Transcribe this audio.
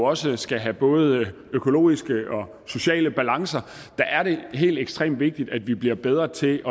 også skal have både økologiske og sociale balancer er det helt ekstremt vigtigt at vi bliver bedre til